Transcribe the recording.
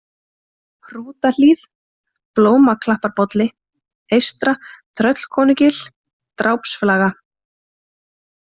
Hrútahlíð, Blómaklapparbolli, Eystra-Tröllkonugil, Drápsflaga